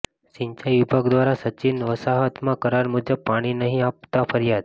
સિંચાઈ વિભાગ દ્વારા સચિન વસાહતમાં કરાર મુજબ પાણી નહીં અપાતા ફરિયાદ